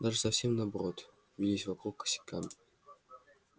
даже совсем наоборот вились вокруг косяками